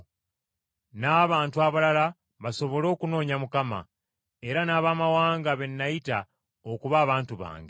n’abantu abalala basobole okunoonya Mukama, era n’abamawanga be nayita okuba abantu bange.